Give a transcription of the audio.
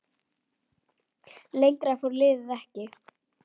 Lengra fór liðið ekki.